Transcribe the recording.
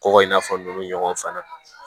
Kɔgɔ in n'a fɔ ninnu ɲɔgɔn fana